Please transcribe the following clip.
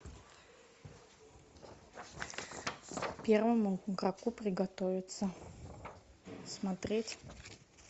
первому игроку приготовиться смотреть